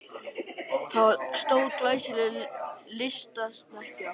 Það var stór og glæsileg lystisnekkja.